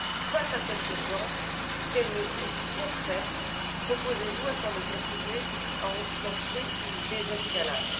Face à cette urgence, quelles mesures concrètes proposez vous afin de contribuer à enclencher une désescalade?